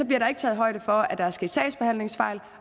bliver der ikke taget højde for at der er sket sagsbehandlingsfejl